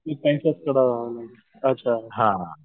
ते त्यांच्याच कडं अच्छा अच्छा